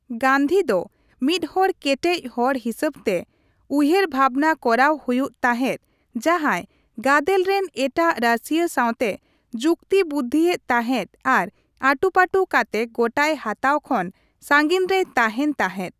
ᱜᱟᱱᱫᱷᱤ ᱫᱚ ᱢᱤᱫᱽᱦᱚᱲ ᱠᱮᱴᱮᱡ ᱦᱚᱲ ᱦᱤᱥᱟᱹᱵᱛᱮ ᱩᱭᱦᱟᱹᱨᱵᱷᱟᱵᱱᱟ ᱠᱚᱨᱟᱣ ᱦᱩᱭᱩᱜ ᱛᱟᱦᱮᱸᱫ ᱡᱟᱦᱟᱸᱭ ᱜᱟᱫᱮᱞ ᱨᱮᱱ ᱮᱴᱟᱜ ᱨᱟᱹᱥᱤᱭᱟᱹ ᱥᱟᱣᱛᱮ ᱡᱩᱠᱛᱤᱵᱩᱫᱫᱷᱤ ᱮᱫ ᱛᱟᱦᱮᱸᱫ ᱟᱨ ᱟᱹᱴᱩᱯᱟᱹᱴᱩ ᱠᱟᱛᱮ ᱜᱚᱴᱟᱭ ᱦᱟᱛᱟᱣ ᱠᱷᱚᱱ ᱥᱟᱸᱜᱤᱧ ᱨᱮᱭ ᱛᱟᱦᱮᱱ ᱛᱟᱦᱮᱸᱫ ᱾